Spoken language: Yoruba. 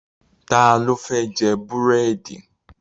Ta ló fẹ́ jẹ búrèdì